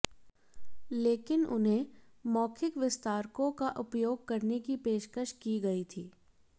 लेकिन उन्हें मौखिक विस्तारकों का उपयोग करने की पेशकश की गई थी